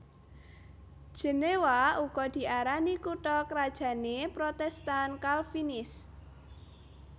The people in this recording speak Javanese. Jenéwa uga diarani kutha krajané Protèstan Kalvinis